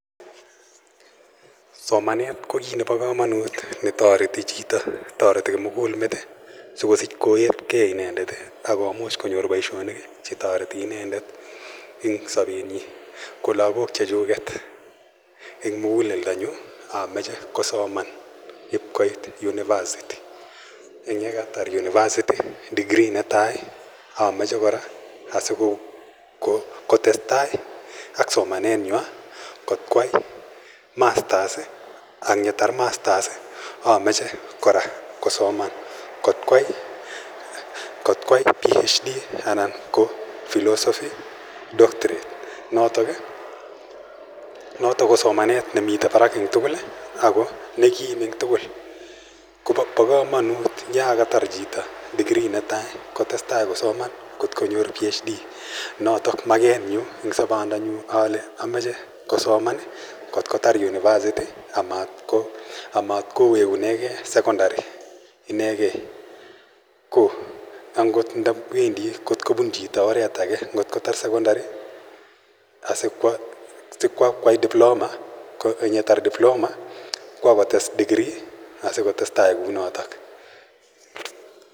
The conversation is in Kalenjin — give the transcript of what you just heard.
Somanet ko kiit nepa kamanut ne tareti chito. Tareti kimugul met asikopit koetgei inendet ak komuch ko nyor poishonik che tareti inendet eng' sapennyi. Ko lagok chechuket eng' muguleldonyu, amache kosoman ip koit University. Eng' yatar University degree netai amache kora asiko tes tai ak somanenywa kot koyai masters ang' ye tar masters amache kora kosoman kot koyai PHD( anan ko Philosophy Doctorate notok ko somanet ne mitei parak eng' tugul ako ne kim eng' tugul. Pa kamanut ya katar chito degree ne tai kot ko nyor PHD, notok maket nyu eng' sapndanyu ale amache kosoman kot ko tar University amatko wekune gei sekondari. Inegei ko angot ndawendi kot kopun chito oret age ngot kotar sekondari asikwa kwai diploma ,ang' ye tar diploma kowa kotes degree asiko tes tai kou notok.